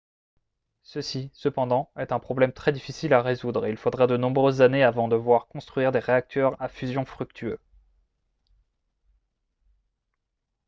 ceci cependant est un problème très difficile à résoudre et il faudra de nombreuses années avant de voir construire des réacteurs à fusion fructueux